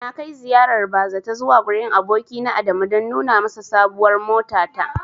Na kai ziyarar bazata zuwa gurin abokina Adamu don nuna masa sabuwar motata.